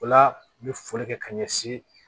O la u bɛ foli kɛ ka ɲɛsin